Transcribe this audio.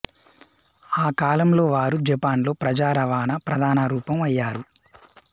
ఆ కాలంలో వారు జపాన్లో ప్రజా రవాణా ప్రధాన రూపం అయ్యారు